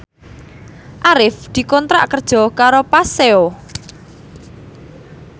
Arif dikontrak kerja karo Paseo